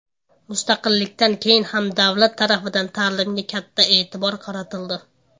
Mustaqillikdan keyin ham davlat tarafidan ta’limga katta e’tibor qaratildi.